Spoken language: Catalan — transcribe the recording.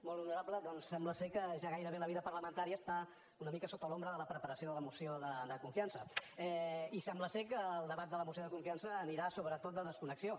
molt honorable doncs sembla que ja gairebé la vida parlamentària està una mica sota l’ombra de la preparació de la moció de confiança i sembla que el debat de la moció de confiança anirà sobretot de desconnexió